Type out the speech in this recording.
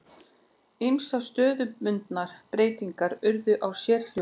Ýmsar stöðubundnar breytingar urðu á sérhljóðum.